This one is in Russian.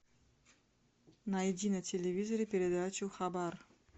найди на телевизоре передачу хабар